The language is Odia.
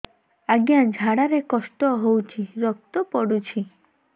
ଅଜ୍ଞା ଝାଡା ରେ କଷ୍ଟ ହଉଚି ରକ୍ତ ପଡୁଛି